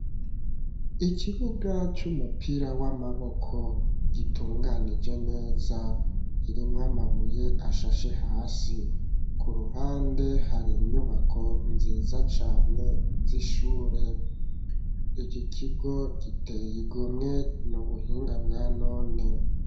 Ikibuga c'umupira w'amaboko gitunganije neza kirimwo amabuye ashashe hasi . Ku ruhande hari inyubako nziza cane z'ishure iki kigo giteye igomwe n'ubuhinga bwa none.